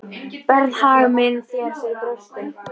Berð hag minn þér fyrir brjósti.